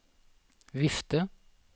vifte